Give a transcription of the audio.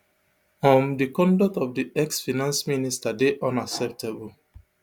um di conduct of di ex finance minister dey unacceptable